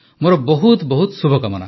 ମୋର ବହୁତ ଶୁଭକାମନା